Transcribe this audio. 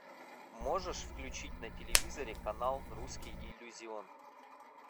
можешь включить на телевизоре канал русский иллюзион